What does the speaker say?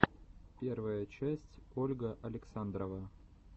первая часть ольга александрова